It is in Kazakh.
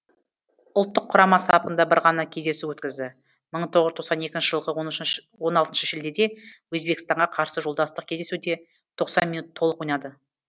ұлттық құрама сапында бір ғана кездесу өткізді мың тоғыз жүз тоқсан екінші жылғы он алтыншы шілдеде өзбекстанға қарсы жолдастық кездесуде тоқсан минут толық ойнады